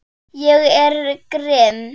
Ég er grimm.